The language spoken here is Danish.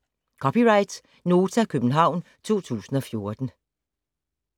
(c) Nota, København 2014